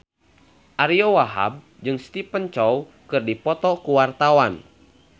Ariyo Wahab jeung Stephen Chow keur dipoto ku wartawan